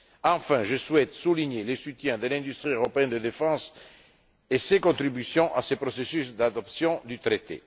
Enfin, je souhaite souligner le soutien de l'industrie européenne de la défense et sa contribution à ce processus d'adoption du traité.